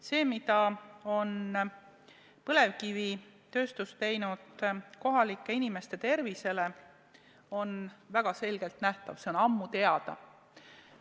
See, mida on põlevkivitööstus teinud kohalike inimeste tervisele, on väga selgelt nähtav, see on ammu teada.